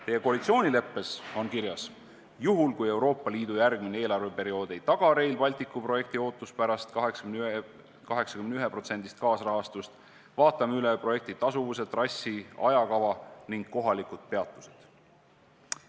Teie koalitsioonileppes on kirjas, et juhul, kui Euroopa Liidu järgmine eelarveperiood ei taga Rail Balticu projektile ootuspärast 81% kaasrahastust, siis vaatate üle projekti tasuvuse, trassi, ajakava ning kohalikud peatused.